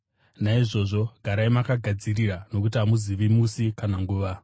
“Naizvozvo garai makagadzirira nokuti hamuzivi musi kana nguva.